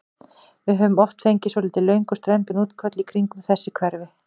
Við höfum oft fengið svolítið löng og strembin útköll í kringum þessi hverfi?